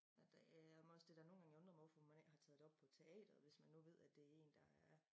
Ja der er men også det dér nogen gange undret mig over hvorfor man ikke har taget det op på teateret hvis man nu ved det en der er